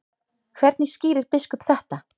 Hvernig skýrir biskup þetta?